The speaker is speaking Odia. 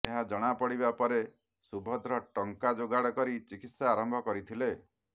ଏହା ଜଣାପଡିବା ପରେ ସୁଭଦ୍ର ଟଙ୍କା ଯୋଗାଡ କରି ଚିକିତ୍ସା ଆରମ୍ଭ କରିଥିଲେ